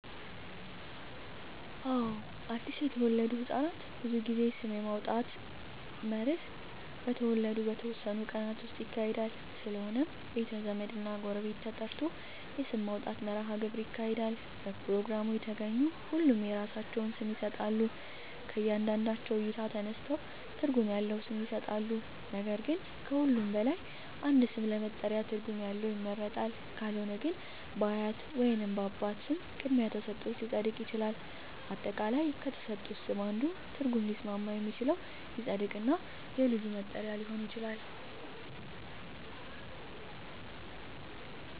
አወ አድሰ የተወለዱ ህፃናት ብዙ ጊዜ ስም የማውጣት መርሀ ግብር በተወለዱ በተወሠኑ ቀናት ውስጥ ይካሄዳል ስለሆነም ቤተ ዘመድ እና ጎረቤት ተጠርቶ የስም ማውጣት መራሀ ግብር ይካሄዳል በፕሮግራሙ የተገኙ ሁሉም የራሳቸውን ስም ይሠጣሎ ከእያንዳንዳቸው እይታ ተነስተው ትርጉም ያለው ስም ይሠጣሉ ነገር ግን ከሁሉም በላይ አንድ ስም ለመጠሪያ ትርጉም ያለው ይመረጣል ካልሆነ ግን በአያት ወይንም በአባት ስም ቅድሚያ ተሠጥቶት ሊፀድቅ ይችላል። አጠቃላይ ከተሠጡት ስም አንዱ ትርጉም ሊስማማ የሚችለው ይፀድቅ እና የልጁ መጠሪ ሊሆን ይችላል